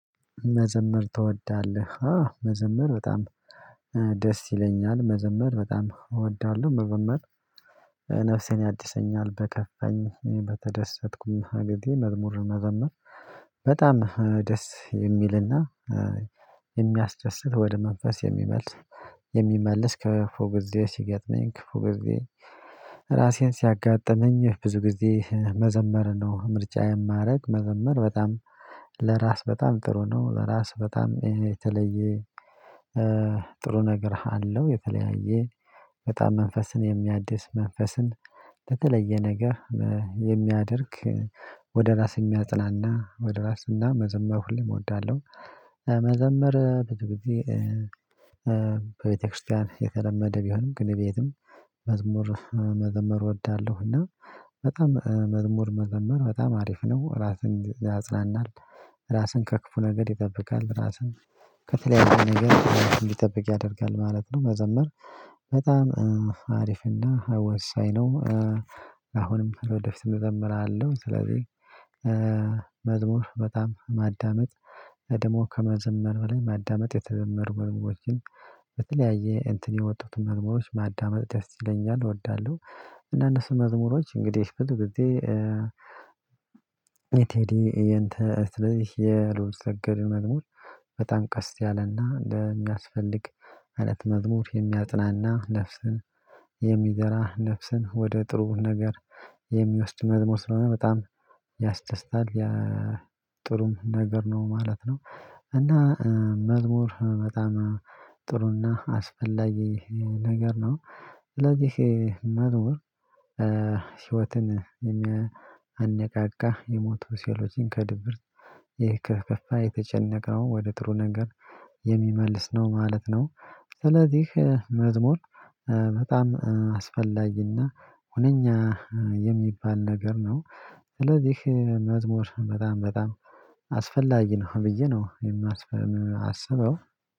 መዘመር ትወዳለህ መዘመር በጣም ደስ ይለኛል መዘመር በጣም እወዳለሁ። መዘመር ነፍሴን ያድሰልኛል በከፋኝ በተደሰትኩም እንግዲ መዝሙር መዘመር። በጣም ደስ የሚልና የሚያስደስት ወደ መንፈስ የሚመልስ ከፉ ግዜ ሲገጥመኝ ከፉ ግዜ። ራሴን ሲያጋጥመኝ ብዙ ጊዜ መዘመር ነው ምርጫ የማደርግ መዘመር በጣም ለራስ በጣም ጥሩ ነው ለራስ በጣም የተለየ ጥሩ ነገር አለው። የተለያየ በጣም መንፈስን የሚያድስ መንፈስን በተለየ ነገር የሚያደርግ ወደ ራስ የሚያጽናና ወደ ራስ እና መዘመር ሁሌም እወዳለሁ። መዘመር ብዙ ግዜ ቤተክርስቲያን የተለመደ ቢሆንም ግን ቤትም መዝሙር መዘመር እወዳለሁ። እና በጣም መዝሙር መዘመር በጣም አሪፍ ነው ራስን ያጽናናል። ራስን ከክፉ ነገር ይጠብቃል ራስህን ከተለያየ ነገር እንዲጠብቅ ያደርጋል ማለት ነው። መዘመር በጣም አሪፍና ወሳኝ ነው። አሁንም ወደፊት እዘምራለሁ። ስለዚህ መዝሙር በጣም ማዳመጥ ደሞ ከመዘመር በላይ ማዳመጥ የተዘመሩ መዝሙሮችን በተለያየ እንትን የወጡትን መዝሙሮች ማዳመጥ ደስ ይለኛል እወዳለሁ። እና እነሱ መዝሙሮች እንግዲህ ብዙ ጊዜ በጊዜ የቴዲ የእንትን ስለዚህ የልዑልሰገድ መዝሙሮች በጣም ቀስ ያለና እንደሚያስፈልግ። ማለት መዝሙር የሚያጽናና ነፍስን የሚዘራ ነፍስን ወደ ጥሩ ነገር የሚወስድ መዝሙር ስለሆነ በጣም ያስደስታል ያ ጥሩም ነገር ነው ማለት ነው። እና መዝሙር በጣም ጥሩና አስፈላጊ ነገር ነው። ስለዚህ መዝሙር ህይወትን የሚያነቃቃ የሞት ሴሎችን ከድብርት ይህ የተከፋ የተጨነቀው ወደ ጥሩ ነገር የሚመልስ ነው ማለት ነው። ስለዚህ መዝሙር በጣም አስፈላጊና ሁነኛ የሚባል ነገር ነው። ስለዚህ መዝሙር በጣም በጣም አስፈላጊ ነው ብዬ ነው የማስበው